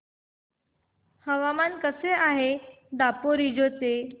हवामान कसे आहे दापोरिजो चे